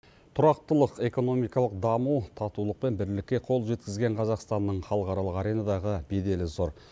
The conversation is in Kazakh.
тұрақтылық экономикалық даму татулық пен бірлікке қол жеткізген қазақстанның халықаралық аренадағы беделі зор